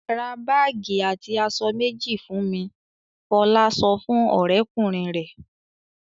"Ra báágì àti aṣọ méjì fún mi!" Fọlá sọ fún ọ̀rẹ́kùnrin rẹ̀.